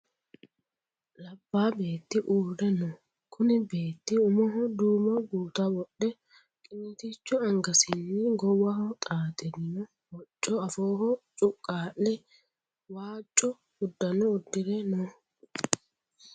Labbaa beetti uurre no. Kuni beetti umoho duumo gutta wodhe qiniitticho angasinni goowaho xaaxirino hocco afooho cuqqaa'le waaco uddano uddire no.